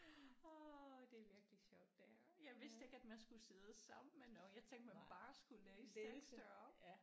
Åh det er virkelig sjovt det her. Jeg vidste ikke at man skulle sidde sammen med nogen jeg tænkte man bare skulle læse tekster op